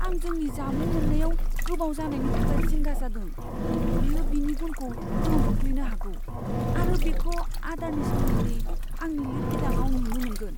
आं जोंनि जामुं मोननायाव गोबाव जानायनि थाखाय जिंगा जादों। बेयो बिनि गुनखौ गोहोम खोख्लैनो हागौ आरो बेखौ आदारनि सोमोन्दै आंनि लिरबिदांआव नुनो मोनगोन।